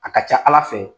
A ka ca ala fɛ